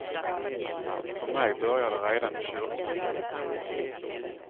För mig börjar det redan i kyrkan.